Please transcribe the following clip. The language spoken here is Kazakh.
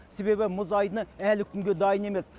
себебі мұз айдыны әлі күнге дайын емес